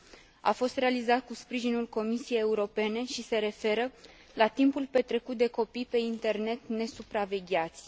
Studiul a fost realizat cu sprijinul Comisiei Europene și se referă la timpul petrecut de copii pe internet, nesupravegheați.